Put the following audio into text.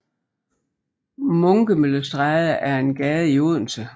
Munkemøllestræde er en gade i Odense